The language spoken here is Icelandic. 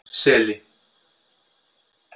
Seli